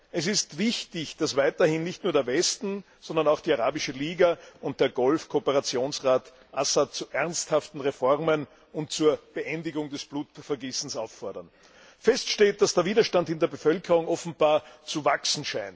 Es ist wichtig, dass weiterhin nicht nur der Westen, sondern auch die Arabische Liga und der Golf Kooperationsrat Assad zu ernsthaften Reformen und zur Beendigung des Blutvergießens auffordern. Feststeht, dass der Widerstand in der Bevölkerung offenbar wächst.